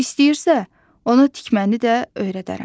İstəyirsə, ona tikməni də öyrədərəm.